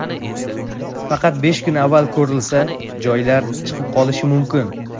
Faqat besh kun avval ko‘rilsa, joylar ‘chiqib qolishi’ mumkin.